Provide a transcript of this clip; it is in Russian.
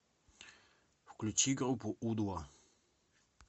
включи группу у два